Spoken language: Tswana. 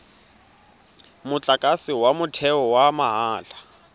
motlakase wa motheo wa mahala